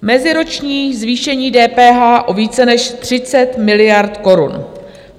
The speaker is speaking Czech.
Meziroční zvýšení DPH o více než 30 miliard korun.